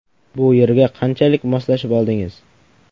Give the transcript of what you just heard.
Bu yerga qanchalik moslashib oldingiz?